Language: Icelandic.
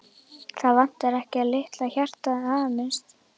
Það vantar ekki að litla hjartað hamist.